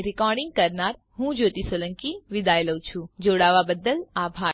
iit Bombay તરફથી spoken tutorial project માટે ભાષાંતર કરનાર હું જ્યોતી સોલંકી વિદાય લઉં છું